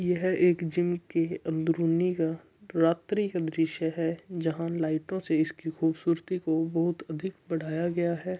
ये है एक जिम की अंदरूनी का रात्रि का दृश्य है जहाँ लाइटों से इसकी खूबसूरती को बहुत अधिक बढाया गया है।